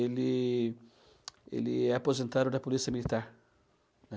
Ele ele é aposentado da polícia militar.